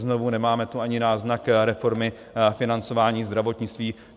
Znovu, nemáme tu ani náznak reformy financování zdravotnictví.